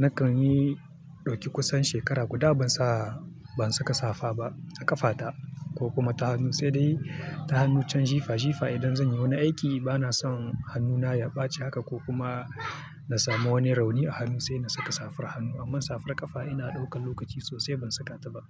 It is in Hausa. Nakan yi ɗauki kusan shekara guda ban saka safa ba a ƙafa ta ko kuma ta hannu, sai dai ta hannu can jifa jifa idan zanyi wani aiki bana son hannuna ya ɓaci haka ko kuma na samu wani rauni a hannu sai na saka safar hannu. Amma safar ƙafa ina ɗaukan lokaci sosai ban saka ta ba.